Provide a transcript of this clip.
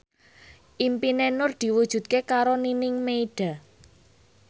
impine Nur diwujudke karo Nining Meida